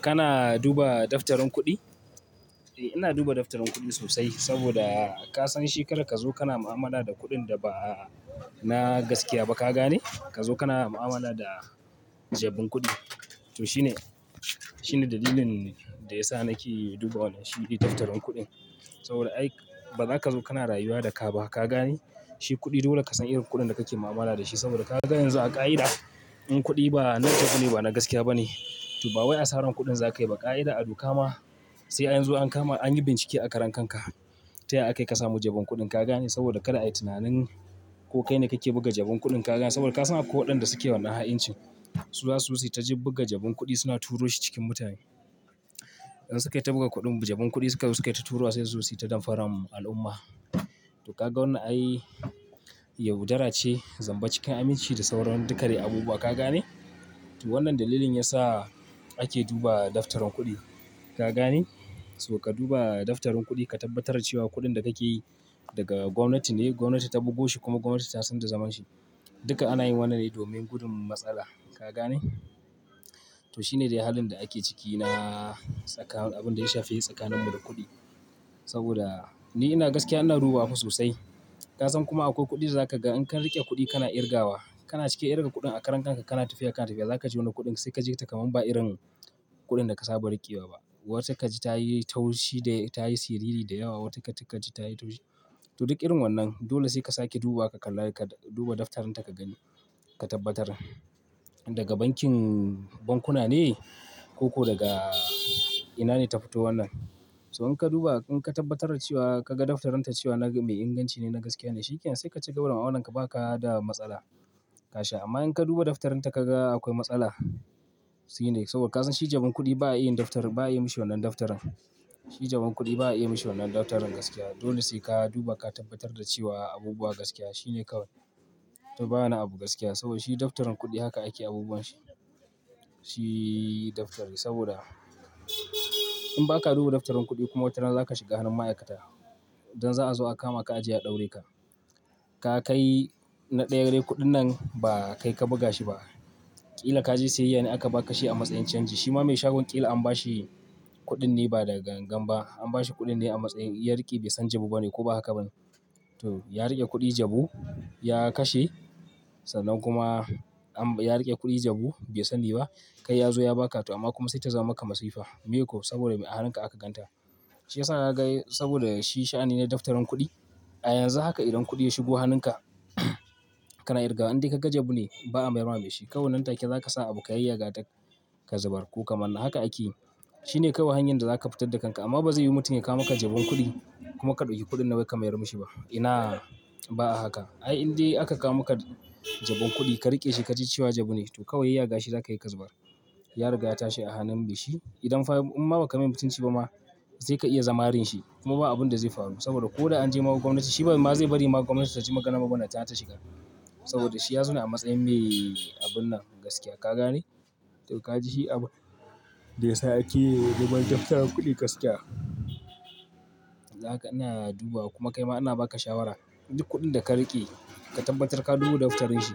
Kana duba daftarin kuɗi? Eh ina duba daftarin kuɗi sosai saboda ka san shekarar ka zo kana mu'amala da kuɗin da ba na gaskiya ba ka gane, ka zo kana mu'amala da jabun kuɗi. To sh ine shine dalilin da ya sa nake duba wannan shi daftarin kuɗin. Saboda ai ba zaka zo kana rayuwa da ka ba ka gane. Shi kuɗi dole ka san irin kuɗin da kake mu'amala da shi saboda ka ga yanzu a ƙa'ida, in kuɗi na jabune ba na gaskiya bane, to bawai asarar kuɗin zaka yi ba ƙa'ida a duka ma. Sai an zo an kama an yi bincike a karan-kanka. Ta ya ya aka yi ka samu jabun kuɗin ka gane saboda kada a yi tunanin ko kai ne kake buga jabun kuɗin ka gane saboda ka san akwai waɗanda suke wannan ha'incin. Su za su wuce ta buga jabun kuɗi suna turo shi cikin mutane. In su kayi ta buga kuɗin jabun kuɗi su kayi ta tura sai su wuce ta damfarar al'umma. To ka ga wannan ai yaudarace, zamba cikin aminci da sauran duka dai abubuwa ka gane. To wannan dalilin yasa ake duba daftarin kuɗi. Ka gane? To ka duba daftarin kuɗi ka tabbatar cewa kuɗin da kake yi daga gwamnati ne, gwamnati ta bugo shi kuma gwamnati ta san da zaman shi. Duka ana yin wannan ne domin gudun matsala. Ka gane? To shi ne dai halin da ake ciki na tsakanin abin da ya shafi tsakanimu da kuɗi. Saboda ni ina gaskiya ina dubawa fa sosai. Ka san kuma akwai kuɗi da zaka ga in ka riƙe kuɗi kana kirgawa, kana cike irin kuɗin a karen kanka kana tafiya kana tafiya zaka ji wani kuɗin sai kaji takaman ba irin kuɗin da ka saba riƙewa ba. Wata ka ji ta yi taushi da ta yi siriri da yawa, wata kaji ta yi taushi. To duk irin wannan dole sai ka sake duba ka kalla duba daftarin ta ka gani, ka tabbatar. Daga bankin bankuna ne ko, ko daga ina ne ta fito wannan. To in ka duba in ka tabbatar da cewa kaga daftarinta cewa mai inganci ne na gaskiya ne shikenan sai ka cigaba da mu'amalarka baka da matsala. Ka sha. Amma in ka duba daftarin ta ka ga akwai matsala shine saboda ka san shi jabun kuɗi ba a iya daftari ba a iya mishi wannan daftarin. Shi jabun kuɗi ba a iya mishi wannan daftarin gaskiya. Dole sai ka duba ka tabbatar da cewa abubuwa gaskiya shi ne kawai. To bana abu gaskiya saboda shi daftarin kuɗi haka ake abubuwan shi. Shi daftari saboda in baka duba daftarin kuɗi kuma watarana za ka shiga hannun ma'aikata. Don za a zo a kama ka ajiye a ɗaurai ka. Ka kai na ɗaya dai kuɗin nan ba kai ka buga shi ba. Ƙila ka je siyayya ne aka ba ka shi a matsayin canji shima mai shagon ƙila an ba shi kuɗin ne ba da gangan ba. An ba shi kuɗin ne a matsayin ya riƙe bai san jabu ba ne ko ba haka ba ne. To ya riƙe kuɗi jabu ya kashe, sannan kuma ya riƙe kuɗi jabu bai sani ba kai ya zo ya ba ka to amma kuma sai ta zama maka masifa. Meye ko? Saboda me a hannunka aka gan ta. Shi yasa naga saboda shi sha'ani ne daftarin kuɗi. A yanzu haka idan kuɗi ya shigo hannunka kana kirgawa in dai ka ga jabune ba'a mayarwa mai shi. Kawai nan take za ka sa abu ka yayyaga ta ka zubar ko ka manna haka ake yi. Shi ne kawai hanyar da za ka fitar da kanka amma ba zai yiwy mutum ya kawo maka jabun kuɗi kuma ka ɗauki kuɗin nan wai ka mayar mishi ba. Ina ba a haka. Ai in dai aka kawo maka jabun kuɗi ka riƙe shi ka ji cewa jabune to kawai yayyaga shi za ka yi ka zubar. Ya riga ya tashi a hannun mai shi. Idan fa in ma ba ka mai mutunci ba ma sai ka iya marin shi kuma ba abun da zai faru saboda ko da an je ma gwamnati shi kuma ba zai bari magon gwamnati ta ci magana ba ballantana ta shiga. Saboda shi ya zo ne a matsayin me abun nan gaskiya. Ka gane? To ka ji shi abin da ya sa ake duba daftarin kuɗi gaskiya. Haka ina dubawabkuma kai ma ina ba ka shawara. Duk kuɗin da ka riƙe ka tabbatar ka duba daftarin shi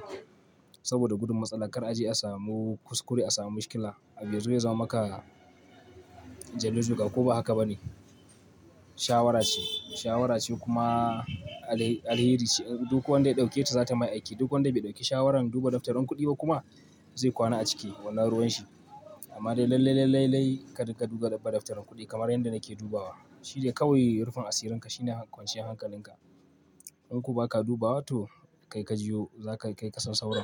saboda gudun matsala kar a je a samu kuskure a samu mishkila. Abin da zai zama maka jallu-joga ko ba haka ba ne. Shawara ce, shawara ce kuma alheri ce. Duk wanda ya ɗauketa za ta mishi aiki. Duk wanda bai ɗauki shawarar duba daftarin kuɗi ba kuma zai kwana a ciki wannan ruwan shi. Amma dai lallai, lallai, lallai ka riƙa duba daftarin kuɗi kamar yadda nake dubawa. Shi ne kawai rufin asirinka shi ne kwanciyar hankalinka. In ko ba ka dubawa to kai ka ji yo za ka kai ka san sauran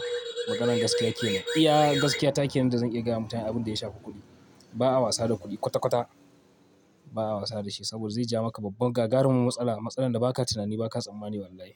maganan gaskiya ke ne. Iya gaskiya take nan da zan iya gaya wa mutane abin da ya shafi kuɗi. Ba'a wasa da kuɗi kwata-kwata. Ba'a wasa da shi saboda zai ja maka babbar gagarumin matsala. Matsalar da ba ka tunani ba ka tsammani wallahi.